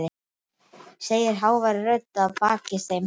segir hávær rödd að baki þeim.